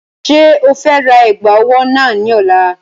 Ṣé o fe ra ẹ̀gbà ọwọ́ náà ní ọ̀la?